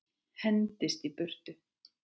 Hendist í burtu.